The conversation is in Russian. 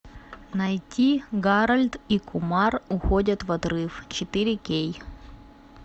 найти гарольд и кумар уходят в отрыв четыре кей